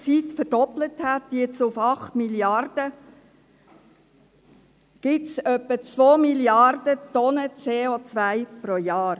Weil sich die Menschheit in kurzer Zeit auf acht Milliarden Menschen verdoppelt hat, gibt es etwa zwei Milliarden Tonnen CO pro Jahr.